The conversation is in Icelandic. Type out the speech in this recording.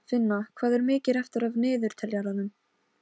Finna, hvað er mikið eftir af niðurteljaranum?